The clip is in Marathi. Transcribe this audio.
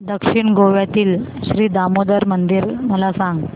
दक्षिण गोव्यातील श्री दामोदर मंदिर मला सांग